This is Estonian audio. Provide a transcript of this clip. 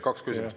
Kaks küsimust.